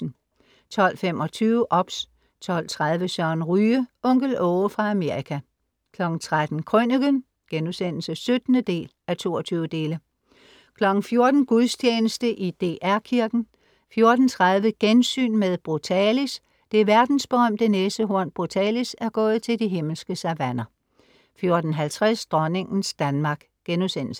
12:25 OBS 12:30 Søren Ryge. Onkel Aage fra Amerika 13:00 Krøniken* (17:22) 14:00 Gudstjeneste i DR Kirken 14:30 Gensyn med Brutalis. Det verdensberømte næsehorn Brutalis er gået til De himmelske Savanner 14:50 Dronningens Danmark*